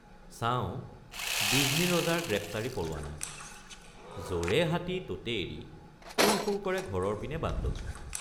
চাওঁ বিজনী ৰজাৰ গ্ৰেপ্তাৰী পৰোৱানা ৷ যৰে হাতী ততে এৰি সুৰ সুৰ কৰে ঘৰৰ পিনে বাট ললোঁ।